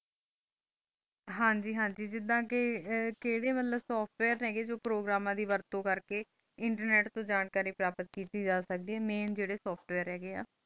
ਹਨ ਜੀ ਹਨ ਜੀ ਜਿੰਦਾ ਕੇ ਕੇ ਜੀ ਮੁਤਲਿਬ software ਹੈਗੇ ਜੋ ਪ੍ਰੋਗਰਾਮ ਦੀ ਵਰਤ ਤੂੰ ਕਰ ਕੇ internet ਤੂੰ ਜਾਣਕਾਰੀ ਪ੍ਰਾਪਤ ਕੀਤੀ ਜਾ ਸਕਦੀਆਂ ਜੇਰੇ main ਜੇਰੀ software ਹੈਗੀਆ